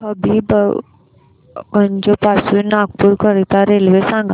हबीबगंज पासून नागपूर करीता रेल्वे सांगा